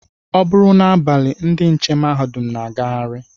Ọ bụrụ n'abalị ndị nche mahadum na-agagharị